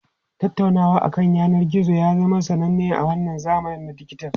Tattaunawa akan yanar gizo ya zama sananne a wannan zamanin dijital.